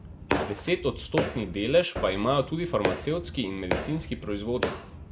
Deset odstotni delež pa imajo tudi farmacevtski in medicinski proizvodi.